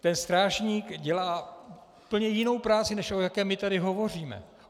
Ten strážník dělá úplně jinou práci, než o jaké my tady hovoříme.